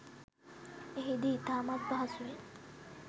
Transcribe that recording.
එහිදී ඉතාමත් පහසුවෙන්